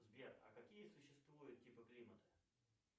сбер а какие существуют типы климата